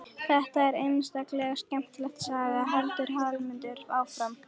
Þetta er einstaklega skemmtileg saga, heldur Hallmundur áfram.